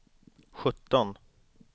sjutton